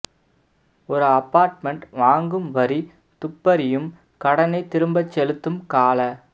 ஒரு அபார்ட்மெண்ட் வாங்கும் வரி துப்பறியும் கடனைத் திரும்பச் செலுத்தும் கால